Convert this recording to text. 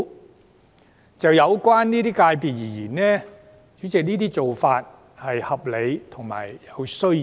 主席，就這些界別而言，這種做法既合理亦有需要。